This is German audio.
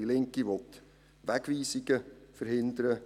Die Linke will die Wegweisungen verhindern;